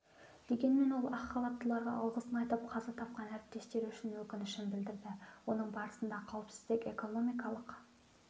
дегенмен ол ақ халаттыларға алғысын айтып қаза тапқан әріптестері үшін өкінішін білдірді оның барысында қауіпсіздік экономикалық